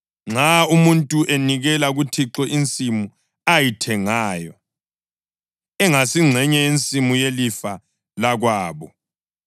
Nxa umuntu enikela kuThixo insimu ayithengayo, engasingxenye yensimu yelifa lakwabo,